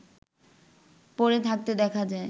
পড়ে থাকতে দেখা যায়